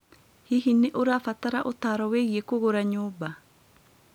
Hihi nĩ ũrabatara ũtaaro wĩgiĩ kũgũra nyũmba?